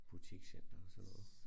Butikscenter og sådan noget